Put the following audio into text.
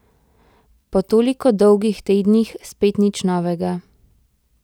Po toliko dolgih tednih spet nič novega.